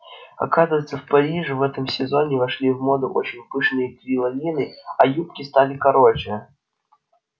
оказывается в париже в этом сезоне вошли в моду очень пышные кринолины а юбки стали короче